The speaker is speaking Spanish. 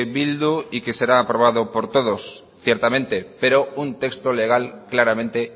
bildu y que será aprobado por todos ciertamente pero un texto legal claramente